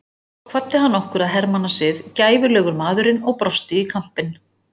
Svo kvaddi hann okkur að hermannasið, gæfulegur maðurinn og brosti í kampinn.